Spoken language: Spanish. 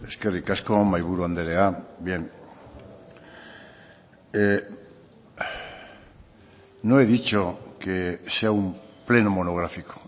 eskerrik asko mahaiburu andrea bien no he dicho que sea un pleno monográfico